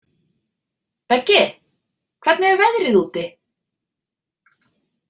Beggi, hvernig er veðrið úti?